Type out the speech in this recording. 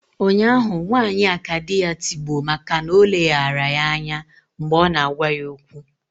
Ụnyahụ nwanyị a ka di ya tigbuo maka na o leghaara ya anya mgbe ọ na-agwa ya okwu